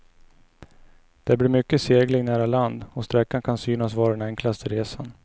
Det blir mycket segling nära land och sträckan kan synas vara den enklaste resan.